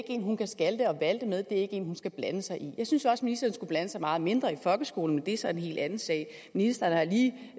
en hun kan skalte og valte med det er ikke en hun skal blande sig i jeg synes også at ministeren skulle blande sig meget mindre i folkeskolen men det er så en helt anden sag ministeren har lige